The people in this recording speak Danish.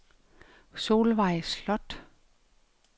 Solvejg Sloth